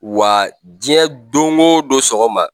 Wa jiɲɛ don go don sɔgɔma